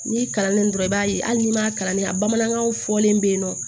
N'i kalannen dɔrɔn i b'a ye hali n'i m'a kalandenya bamanankan fɔlen bɛ yen nɔ